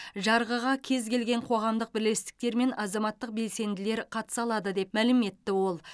жарғыға кез келген қоғамдық бірлестіктер мен азаматтық белсенділер қатыса алады деп мәлім етті ол